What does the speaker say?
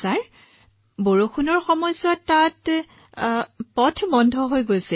sir বৰষুণ হোৱাৰ লগে লগে আমাৰ পথ বন্ধ হৈ পৰিছিল